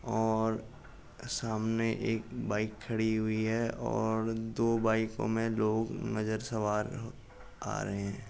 और सामने एक बाइक खड़ी हुई है और दो बाइको में लोग नजर सवार आ रहे हैं।